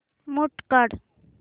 mute काढ